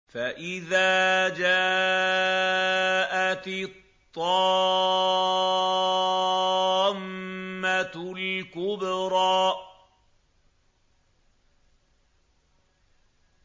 فَإِذَا جَاءَتِ الطَّامَّةُ الْكُبْرَىٰ